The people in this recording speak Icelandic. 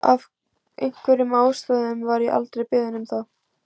Af einhverjum ástæðum var ég aldrei beðin um það.